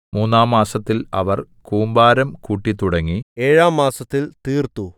മൂന്നാം മാസത്തിൽ അവർ കൂമ്പാരം കൂട്ടിത്തുടങ്ങി ഏഴാം മാസത്തിൽ തീർത്തു